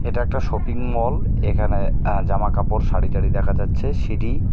এটা একটা শপিংমল এখানে আঃ জামাকাপড় সারি টারি দেখা যাচ্ছে সিঁড়ি .